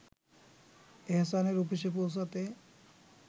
এহসানের অফিসে পৌঁছাতে